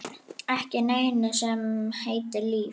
Ekki neinu sem heitir líf.